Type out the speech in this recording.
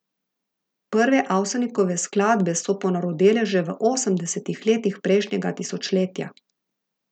Prve Avsenikove skladbe so ponarodele že v osemdesetih letih prejšnjega tisočletja.